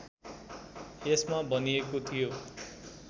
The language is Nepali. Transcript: यसमा भनिएको थियो